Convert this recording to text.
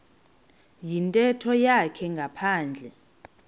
yintetho yakhe ngaphandle